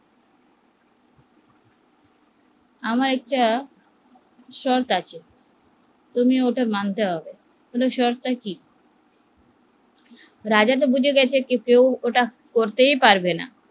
আমার একটা শর্ত আছে তোমার ওটা মানতে হবে তোমাকে ওটা মানতে হবে, শর্তটা কি রাজা তো বুঝে গেছে ওটা করতেই পারবেনা